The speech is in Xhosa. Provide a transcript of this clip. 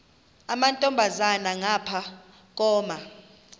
amantombazana ngapha koma